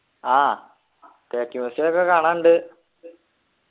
ആഹ് തേക്ക് museum ഒക്കെ കാണാനുണ്ട്